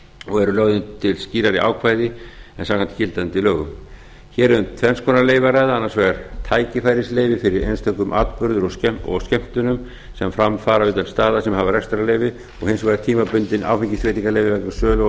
og eru lögð til skýrari ákvæði en samkvæmt gildandi lögum hér er um tvenns konar leyfi að ræða annars vegar tækifærisleyfi fyrir einstökum atburðum og skemmtunum sem fram fara utan staða sem hafa rekstrarleyfi og hins vegar tímabundin áfengisleyfi vegna sölu